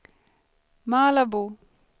Malabo